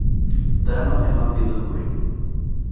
Dhano ema pidho gwen.